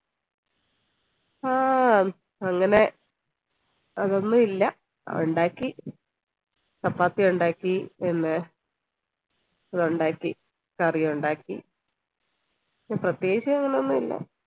ആഹ് അങ്ങനെ അതോന്നില്ല ഉണ്ടാക്കി ചപ്പാത്തി ഉണ്ടാക്കി പിന്നെ അതൊണ്ടാക്കി curry ഉണ്ടാക്കി പ്രത്യേകിച്ച് അങ്ങനെന്നുല്ല